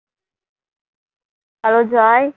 hello Joy